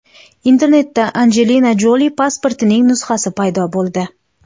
Internetda Anjelina Joli pasportining nusxasi paydo bo‘ldi.